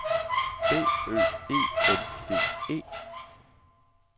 D Ø E N D E